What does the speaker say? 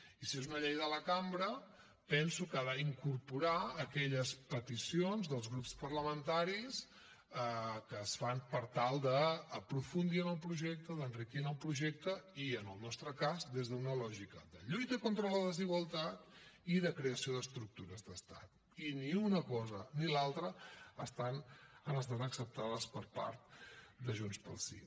i si és una llei de la cambra penso que ha d’incorporar aquelles peticions dels grups parlamentaris que es fan per tal d’aprofundir en el projecte d’enriquir en el projecte i en el nostre cas des d’una lògica de lluita contra la desigualtat i de creació d’estructures d’estat i ni una cosa ni l’altra han estat acceptades per part de junts pel sí